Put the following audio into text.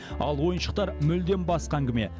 ал ойыншықтар мүлдем басқа әңгіме